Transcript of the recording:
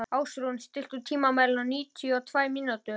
Ásrún, stilltu tímamælinn á níutíu og tvær mínútur.